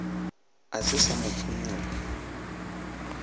a se sa mo phonyokga